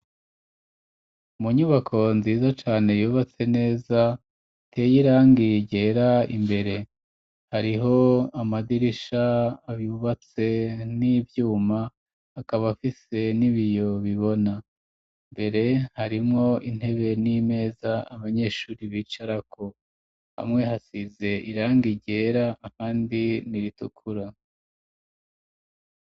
Mu nyubako nziza cane yubatse neza iteye irangi ryera imbere hariho amadirisha yubatse n'ivyuma akaba afise n'ibiyo bibona, imbere harimwo intebe n'imeza abanyeshuri bicarako hamwe hasize irangi ryera ahandi n'iritukura.